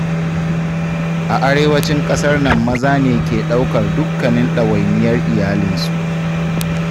A arewacin ƙasar nan maza ne ke ɗaukar dukkanin ɗawainiyar iyalinsu.